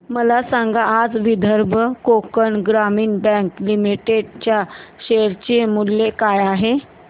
मला सांगा आज विदर्भ कोकण ग्रामीण बँक लिमिटेड च्या शेअर चे मूल्य काय आहे